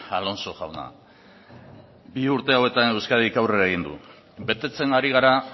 alonso jauna bi urte hauetan euskadik aurrera egin du betetzen ari gara